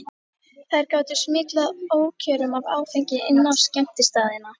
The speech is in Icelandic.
Þær gátu smyglað ókjörum af áfengi inn á skemmtistaðina.